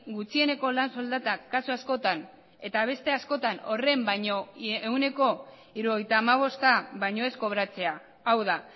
gutxieneko lan soldatak kasu askotan eta beste askotan horren baino ehuneko hirurogeita hamabosta baino ez kobratzea hau da